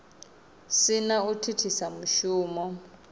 si na u thithisa mushumo